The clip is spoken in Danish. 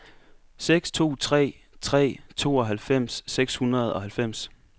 seks to tre tre tooghalvfems seks hundrede og halvfems